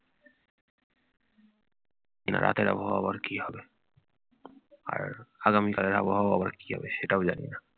রাতের আবহাওয়া আবার কি হবে! আর আগামীকালের আবহাওয়াও আবার কি হবে সেটাও জানি না।